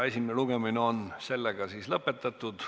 Esimene lugemine on lõpetatud.